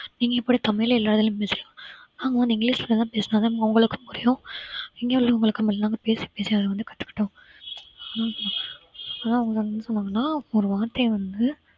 நீங்க எப்பிடி தமிழ்ல எல்லா இதுலயும் பேசுறீங்க ஆமா இங்கிலிஷ்லதான் பேசினாதான் உங்களுக்கும் புரியும் இங்க உள்ளவங்களுக்கு எல்லாமே பேசி பேசி அதை வந்து கத்துக்கிட்டோம் ஆனா ஆனா அவங்க என்ன சொன்னாங்கன்னா ஒரு வார்த்தையை வந்து